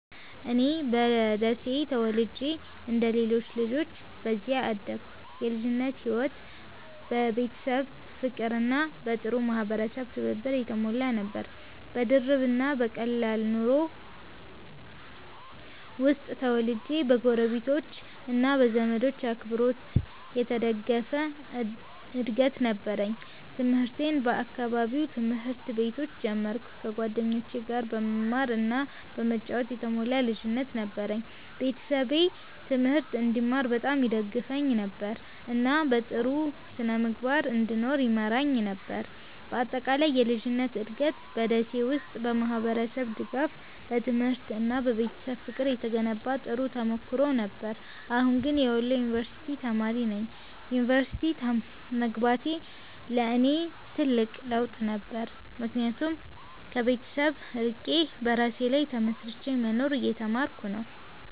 እኔ በደሴ ተወልጄ እንደ ሌሎች ልጆች በዚያ አደግኩ። የልጅነቴ ሕይወት በቤተሰብ ፍቅርና በጥሩ የማህበረሰብ ትብብር የተሞላ ነበር። በድርብ እና በቀላል ኑሮ ውስጥ ተወልጄ በጎረቤቶች እና በዘመዶች አብሮነት የተደገፈ እድገት ነበረኝ። ትምህርቴን በአካባቢው ትምህርት ቤቶች ጀመርኩ፣ ከጓደኞቼ ጋር በመማር እና በመጫወት የተሞላ ልጅነት ነበረኝ። ቤተሰቤ ትምህርት እንድማር በጣም ይደግፉኝ ነበር፣ እና በጥሩ ስነ-ምግባር እንድኖር ይመራኝ ነበር። በአጠቃላይ የልጅነቴ እድገት በ ደሴ ውስጥ በማህበረሰብ ድጋፍ፣ በትምህርት እና በቤተሰብ ፍቅር የተገነባ ጥሩ ተሞክሮ ነበር። አሁን ግን የወሎ ዩንቨርስቲ ተማሪ ነኝ። ዩኒቨርሲቲ መግባቴ ለእኔ ትልቅ ለውጥ ነበር፣ ምክንያቱም ከቤተሰብ ርቄ በራሴ ላይ ተመስርቼ መኖርን እየተማርኩ ነው።